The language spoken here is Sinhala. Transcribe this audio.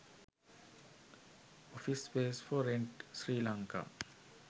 office space for rent sri lanka